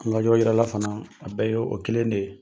An ka yɔrɔ yirala fana a bɛɛ ye o kelen de ye.